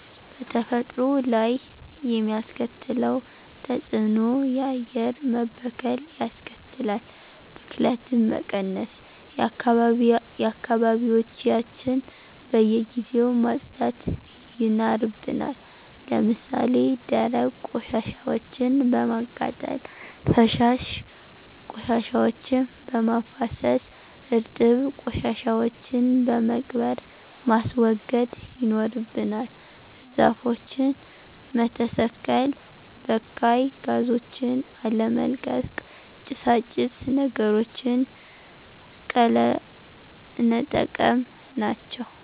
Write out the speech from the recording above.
በተፈጥሮ ላይ የሚያስከትለው ተጽእኖ :-የአየር መበከል ያስከትላል። ብክለትን ለመቀነስ :-አካባቢዎችያችን በየጊዜው ማጽዳት ይናርብናል። ለምሳሌ ደረቅ ቆሻሻወችን በማቃጠል፣ ፈሳሽ ቆሻሻወችን በማፋሰስ፣ እርጥብ ቆሻሻወችን በመቅበር ማስወገድ ይኖርብናል። ዛፎችን መተሰከል፣ በካይ ጋዞችን አለመልቀቅ፣ ጭሳጭስ ነገሮችን ቀለነጠቀም ናቸው።